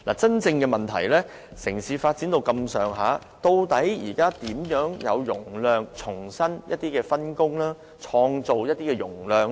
真正的問題是城市發展已達這個程度，我們現時究竟如何騰出容量，重新分工，創造容量呢？